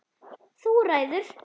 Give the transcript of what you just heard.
Þú ræður!